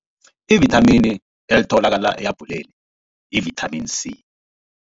Ivithamini elitholakala ehabhuleni yi-vitamn C.